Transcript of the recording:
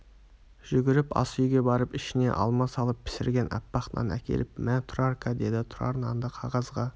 жүгіріп асүйге барып ішіне алма салып пісірген аппақ нан әкеліп мә тұрарка деді тұрар нанды қағазға